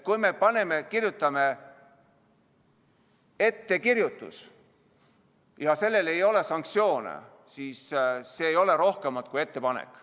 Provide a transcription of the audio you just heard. Kui me kirjutame "ettekirjutus", aga sellel ei ole sanktsioone, siis ei ole see rohkemat kui ettepanek.